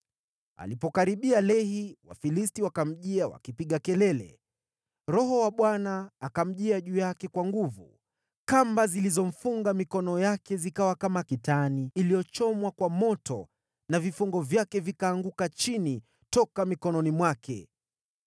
Alipokaribia Lehi, Wafilisti wakamjia wakipiga kelele. Roho wa Bwana akamjia juu yake kwa nguvu. Kamba zilizomfunga mikono yake zikawa kama kitani iliyochomwa kwa moto, na vifungo vyake vikaanguka chini toka mikononi mwake.